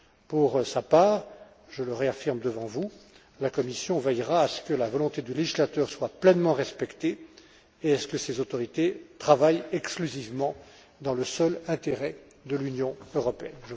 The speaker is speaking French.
Pour sa part, je le réaffirme devant vous, la Commission veillera à ce que la volonté du législateur soit pleinement respectée et à ce que ces autorités travaillent exclusivement dans le seul intérêt de l'Union européenne.